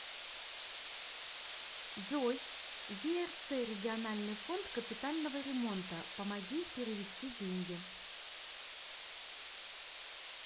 джой ерц региональный фонд капитального ремонта помоги перевести деньги